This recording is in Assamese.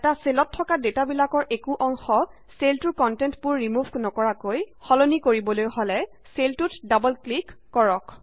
এটা চেলত থকা ডেটা বিলাকৰ একো অংশ চেলটোৰ কন্টেন্টবোৰ ৰিমোভ নকৰাকৈ সলনি কৰিবলৈ হলে চেলটোত ডাবল ক্লিক কৰক